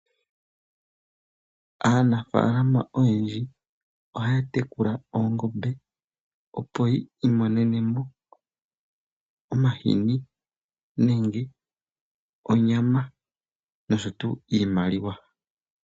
Aanafaalama oyendji ohaya tekula oongombe, opo yi imonene mo omahini nenge onyama nosho wo iimaliwa.